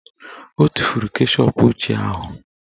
O tufuru keshọp ochie ahụ